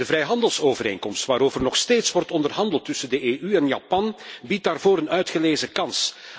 De vrijhandelsovereenkomst waarover nog steeds wordt onderhandeld tussen de EU en Japan biedt daarvoor een uitgelezen kans.